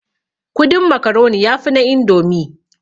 Kudin makaroni yafi na indomi